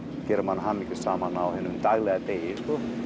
gerir mann hamingjusaman á hinum venjulega degi